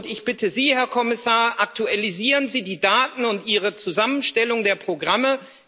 Ich bitte Sie, Herr Kommissar, aktualisieren Sie die Daten und Ihre Zusammenstellung der Programme.